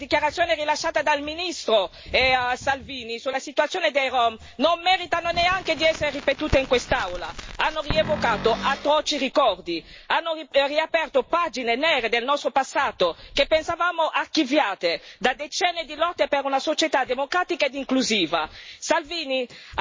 E proprio su questo, le dichiarazioni rilasciate dal ministro Salvini sulla situazione dei rom non meritano neanche di essere ripetute in quest'Aula hanno rievocato atroci ricordi, hanno riaperto pagine nere del nostro passato che pensavamo archiviate da decenni di lotte per una società democratica ed inclusiva.